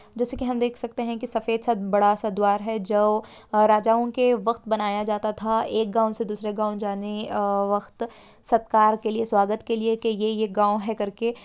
जैसे की हम देख सकते हैं की सफेद सा बड़ा सा द्वार है जो राजाओं के वक्त बनाया जाता था एक गांव से दूसरे गांव जाने अ वक्त सत्कार के लिए स्वागत के लिए के ये ये एक गांव है करके।